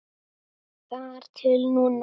Þar til núna.